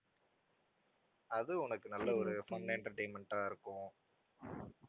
அது உனக்கு நல்ல ஒரு fun entertainment ஆ இருக்கும்